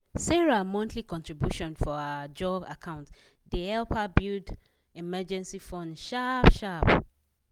sarah monthly contribution for her ajo account de help her build emergency fund sharp-sharp